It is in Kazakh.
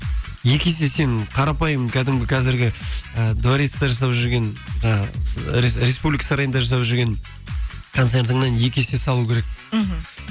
екі есе сенің қарапайым кәдімгі қазіргі і дворецте жасап жүрген жаңағы республика сарайында жасап жүрген концертіңнен екі есе салу керек мхм